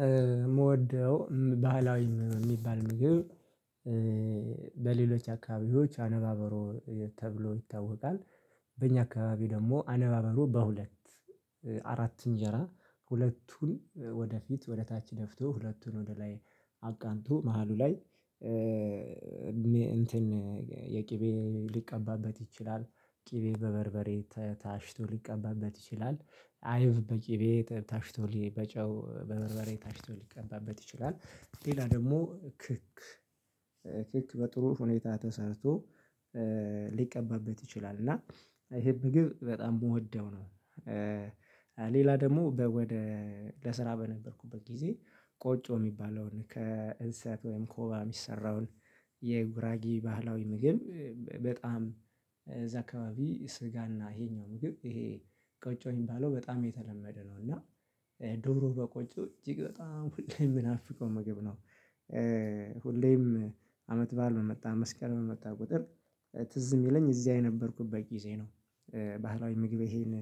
የምወደው ባህላዊ የሚባል ምግብ በሌሎች አከባቢዎች አነባብሮ ተብሎ ይታወቃል። በእኛ አካባቢ ደግሞ አነባበሩ በሁለት አራት እንጀራ ሁለቱን ወደፊት ወደታች ደፍቶ ሁለቱን ወደላይ አቃንቶ መሃሉ ላይ እንትን የቅቤ ሊቀባበት ይችላል ቅቤ በበርበሬ ታሽቶ ሊቀባበት ይችላል አይብ በቅቤ ታሽቶ በጨው በበርበሬ ታሽቶ ሊቀባበት ይችላል ሌላ ደግሞ ክክ በጥሩ ሁኔታ ተሰርቶ ሊቀባበት ይችላል እና ይሄ ምግብ በጣም ምወደው ነው። ሌላ ደግሞ ወደ ለስራ በነበርኩበት ጊዜ ቆጮ የሚባለውን ከእንስሳትም ከወባም የሚሰራውን የጉራጌ ባህላዊ ምግብ በጣም እዛ አካባቢ ስጋና ይሄኛው ምግብ ይሄ ቆጮ የሚባለው በጣም የተለመደ ነው እና ዶሮ በቆጮ እጅግ በጣም ሁሌም የምናፍቀው ምግብ ነው። ሁሌም አመት በዓል በመጣ መስቀል በመጣ ቁጥር ትዝ የሚለኝ እዚያ የነበርኩበት ጊዜ ነው። ባህላዊ ምግቤ ይሄን